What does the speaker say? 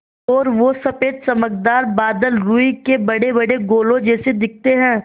और वो सफ़ेद चमकदार बादल रूई के बड़ेबड़े गोलों जैसे दिखते हैं